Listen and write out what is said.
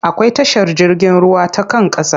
Akwai tashar jirgin ruwa ta kan ƙasa.